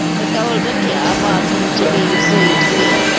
Dettol ਰੱਖਿਆ bathroom ਚ ਵੀ ਰਸੋਈ ਚ ਵੀ।